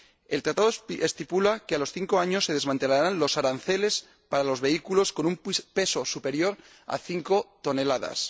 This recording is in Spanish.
El Acuerdo estipula que a los cinco años se desmantelarán los aranceles para los vehículos con un peso superior a 5 toneladas.